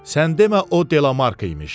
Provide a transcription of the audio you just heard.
Sən demə o Delamark imiş.